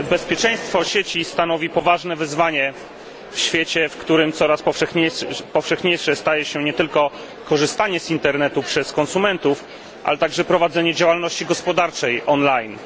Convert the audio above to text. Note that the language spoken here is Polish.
Bezpieczeństwo sieci stanowi poważne wyzwanie w świecie, w którym coraz powszechniejsze staje się nie tylko korzystanie z internetu przez konsumentów, ale także prowadzenie działalności gospodarczej online.